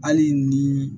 Hali ni